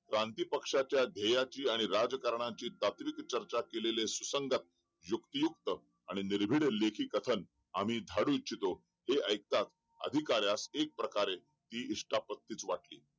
क्रांती पक्षाचा देहाची आणि राज्य करण्याची तांत्रिक चर्चा केलेले सुसंगत युक्तियुक्त आणि निर्बिन लेखी खतन आम्ही झाडू इच्छितो हे ऐकता कार्यास हे एक प्रकारे ती वाटली